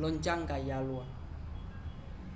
l'onjanga yalwa